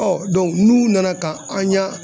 n'u nana ka an ɲa